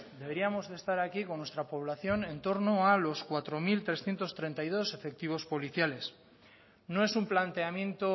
deberíamos de estar aquí con nuestra población en torno a los cuatro mil trescientos treinta y dos efectivos policiales no es un planteamiento